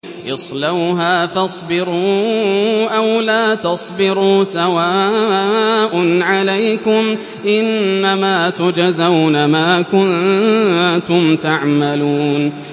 اصْلَوْهَا فَاصْبِرُوا أَوْ لَا تَصْبِرُوا سَوَاءٌ عَلَيْكُمْ ۖ إِنَّمَا تُجْزَوْنَ مَا كُنتُمْ تَعْمَلُونَ